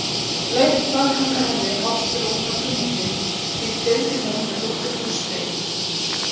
Leigt var handa henni hálft rúm hjá kunningjum, því deildi hún með dóttur húsfreyju.